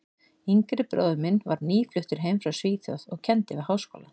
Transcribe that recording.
yngri bróðir minn var nýfluttur heim frá Svíþjóð og kenndi við Háskólann.